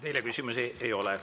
Teile küsimusi ei ole.